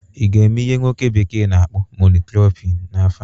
ị ga-eme ihe nwoke bekee na-akpọ mono cropping n'afọ a?